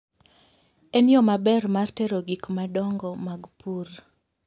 En yo maber mar tero gik madongo mag pur.